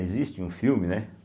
Existe um filme, né?